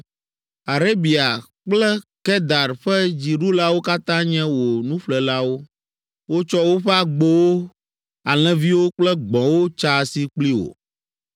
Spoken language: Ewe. “Arabia kple Kedar ƒe dziɖulawo katã nye wò nuƒlelawo. Wotsɔ woƒe agbowo, alẽviwo kple gbɔ̃wo tsa asi kpli wò.